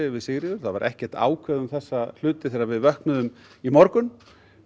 við Sigríður það var ekkert ákveðið um þessa hluti þegar við vöknuðum í morgun